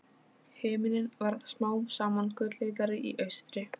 Himininn varð smám saman gulleitari í austri.